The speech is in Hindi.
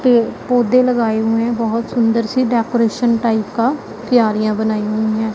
पौधे लगाए हुएं हैं बहोत सुंदर सी डेकोरेशन टाइप का क्यारियां बनाई हुईं हैं।